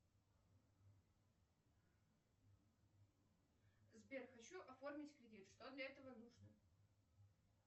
сбер хочу оформить кредит что для этого нужно